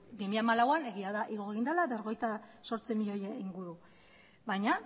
bi mila hamalauean egia da igo egin dela berrogeita zortzi milioi inguru baina